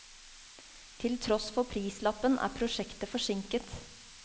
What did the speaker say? Til tross for prislappen, er prosjektet forsinket.